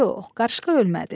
Yox, qarışqa ölmədi.